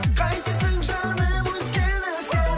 қайтесің жаным өзгені сен